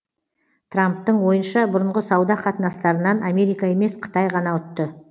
трамптың ойынша бұрынғы сауда қатынастарынан америка емес қытай ғана ұтты